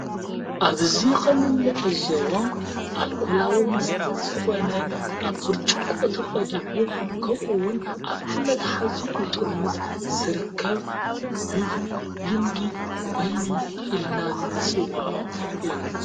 ኣብዙይ ኸምልዕ ዞቦ ኣልኮላዊ ወስተት ዝኾነ ኣብ ብርጭቆ ተቐዲሑ ከብኡውን ኣብቲ መታሕዚኡጡርሙስ ዘርከብ ብብ ልምዲ ወይኒ ኢልና ንስውዖ እዩ።